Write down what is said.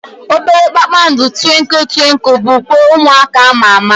Obere kpakpando Twinkle twinkle bụ ukwe ụmụaka ama ama.